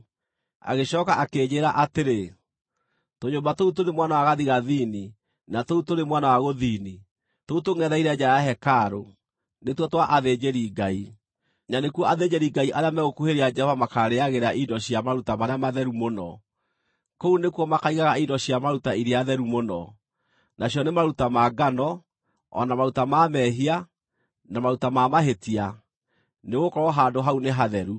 Agĩcooka akĩnjĩĩra atĩrĩ, “Tũnyũmba tũu tũrĩ mwena wa gathigathini na tũu tũrĩ mwena wa gũthini, tũu tũngʼetheire nja ya hekarũ, nĩtuo twa athĩnjĩri-Ngai, na nĩkuo athĩnjĩri-Ngai arĩa megũkuhĩrĩria Jehova makarĩĩagĩra indo cia maruta marĩa matheru mũno. Kũu nĩkuo makaigaga indo cia maruta iria theru mũno, nacio nĩ maruta ma ngano, o na maruta ma mehia, na maruta ma mahĩtia, nĩgũkorwo handũ hau nĩ hatheru.